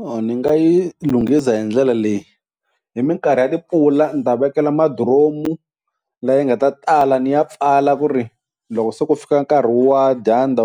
Or ni nga yi lunghiza hi ndlela leyi, hi minkarhi ya timpfula ni ta vekela madiromu la yi nga ta tala ni ya pfala ku ri loko se ku fika nkarhi wa dyandza